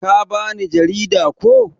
Ka ba ni jarida, ko?